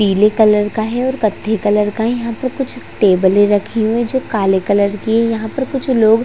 पीले कलर का है और कत्थे कलर का यहाँ पर कुछ टेबले रखे हुए है जो काले कलर की है यहाँ पर कुछ लोग--